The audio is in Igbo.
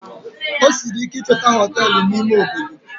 Ọ sịrị ike ichotu Họtelụ na ime Obodo